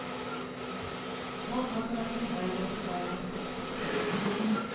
Många av mina filmer är regissörernas bästa, säger hon.